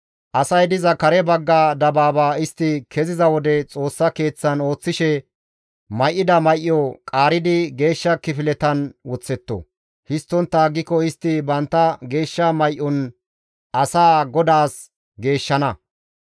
Asay diza kare dabaaba istti keziza wode, Xoossa Keeththan ooththishe may7ida may7o qaaridi geeshsha kifiletan woththetto. Histtontta aggiko istti bantta geeshsha may7on asaa GODAAS geeshshana.